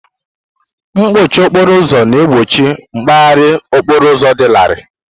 Mkpọchi okporo ụzọ na-egbochi mgbaharị okporo ụzọ dị larịị.